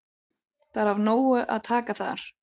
Það er af nógu að taka þar.